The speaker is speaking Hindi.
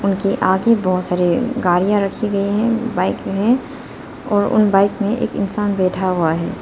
उनके आगे बहोत सारी गाड़ियां रखी गई है बाइक है और उन बाइक में एक इंसान बैठा हुआ है।